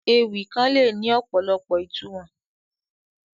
Ewì kàn le ni ọ̀pọ̀lọpọ̀ ìtumọ̀